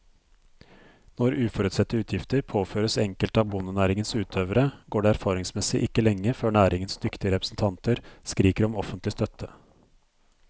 Når uforutsette utgifter påføres enkelte av bondenæringens utøvere, går det erfaringsmessig ikke lenge før næringens dyktige representanter skriker om offentlig støtte.